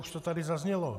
Už to tady zaznělo.